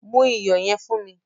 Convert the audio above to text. Mu iyọ̀ yẹn fún.